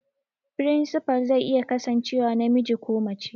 Firinsifal zai iya kasancewa namiji ko mace